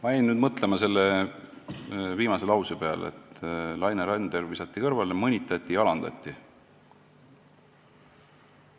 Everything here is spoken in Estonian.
Ma jäin mõtlema selle viimase lause peale, et Laine Randjärv visati kõrvale, teda mõnitati ja alandati.